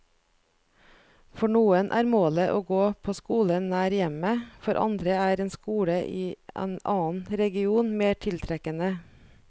For noen er målet å gå på skolen nær hjemmet, for andre er en skole i en annen region mer tiltrekkende.